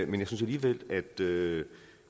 jeg synes alligevel at det